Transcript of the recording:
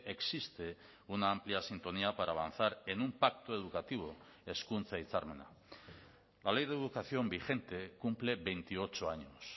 existe una amplia sintonía para avanzar en un pacto educativo hezkuntza hitzarmena la ley de educación vigente cumple veintiocho años